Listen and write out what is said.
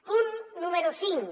punt número cinc